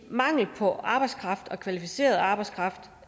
mangel på arbejdskraft og kvalificeret arbejdskraft